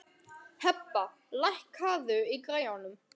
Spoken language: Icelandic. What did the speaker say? Hebba, lækkaðu í græjunum.